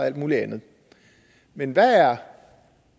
alt muligt andet men hvad er